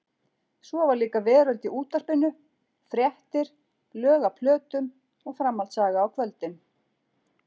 Svo var líka veröld í útvarpinu: fréttir, lög af plötum, framhaldssaga á kvöldin.